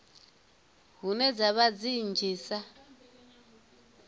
hune dza vha dzi nnzhisa